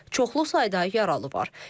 Çoxlu sayda yaralı var.